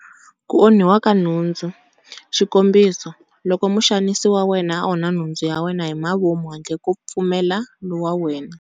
Ku onhiwa ka nhundzu- Xikombiso, loko muxanisi wa wena a onha nhundzu ya wena hi mavomu handle ka pfumelelo wa wena.